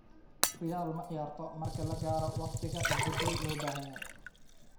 Real ma ciyaarto marka la gaaro waqtiga isbedel loo baahan yahay.